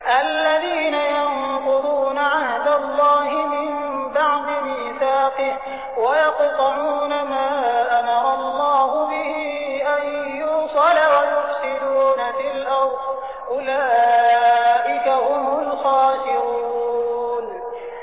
الَّذِينَ يَنقُضُونَ عَهْدَ اللَّهِ مِن بَعْدِ مِيثَاقِهِ وَيَقْطَعُونَ مَا أَمَرَ اللَّهُ بِهِ أَن يُوصَلَ وَيُفْسِدُونَ فِي الْأَرْضِ ۚ أُولَٰئِكَ هُمُ الْخَاسِرُونَ